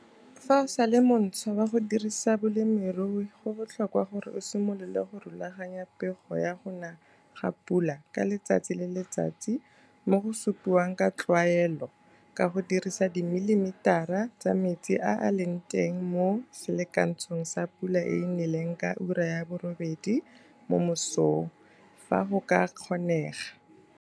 Fa o sa le montshwa wa go dirisa bolemirui go botlhokwa gore o simolole go rulaganya pego ya go na ga pula ka letsatsi le letsatsi mo go supiwang ka tlwaelo ka go dirisa dimilimitara mm's tsa metsi a a leng teng mo selakantshong sa pula e e neleng ka 8h00 mo mosong fa go ka kgonegwa.